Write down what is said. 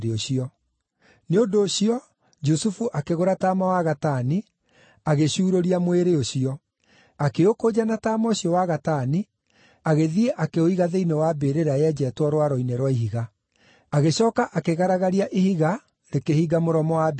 Nĩ ũndũ ũcio Jusufu akĩgũra taama wa gatani, agĩcuurũria mwĩrĩ ũcio. Akĩũkũnja na taama ũcio wa gatani, agĩthiĩ akĩũiga thĩinĩ wa mbĩrĩra yenjetwo rwaro-inĩ rwa ihiga. Agĩcooka akĩgaragaria ihiga rĩkĩhinga mũromo wa mbĩrĩra ĩyo.